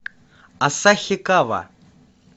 асахикава